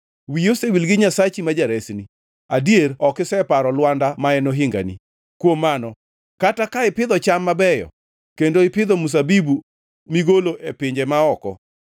Wiyi osewil gi Nyasachi ma jaresni; adier ok iseparo Lwanda ma en ohingani. Kuom mano kata ka ipidho cham mabeyo kendo ipidho mzabibu migolo e pinje ma oko,